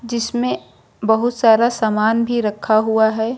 जिसमें बहुत सारा सामान भी रखा हुआ है।